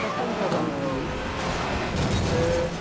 Mas foi um casamento bonito eh